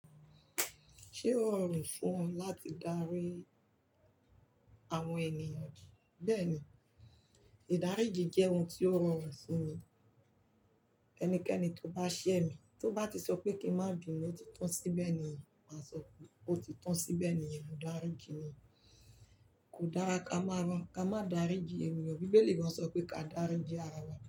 Ṣé ó rọrùn fún ọ láti darí àwọn ènìyàn? Bẹ́ẹ̀ ni, ìdaríji jẹ́ ohun tó rọrùn fun mi. Ẹnikẹ́ni tó bá ṣẹ́ mi, tó bá ti sọ pé kí n má binu, ó ti tán síbẹ̀ ni màá sọ pé, ó ti tán síbẹ̀ ni, ìdaríji ni. Kò dára ká máa rán, ká máa darí ji ènìyàn. Bíbélì gan sọ pé ká darí ji ara wa.